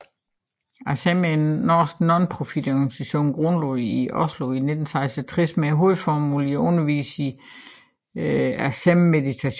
Acem er en norsk nonprofitorganisation grundlagt i Oslo i 1966 med hovedformålet at undervise i acemmeditation